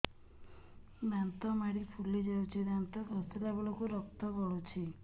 ଦାନ୍ତ ମାଢ଼ୀ ଫୁଲି ଯାଉଛି ଦାନ୍ତ ଘଷିଲା ବେଳକୁ ରକ୍ତ ଗଳୁଛି